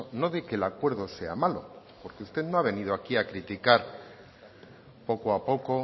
no de que el acuerdo sea malo porque usted no ha venido aquí a criticar poco a poco